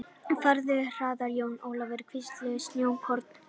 Farðu hraðar Jón Ólafur, hvísluðu snjókornin.